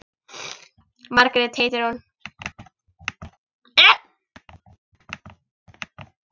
Margrét heitir hún.